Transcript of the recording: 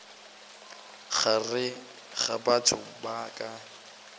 gare ga batho ba ka